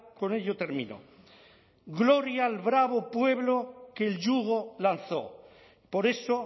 con ello termino gloria al bravo pueblo que el yugo lanzó por eso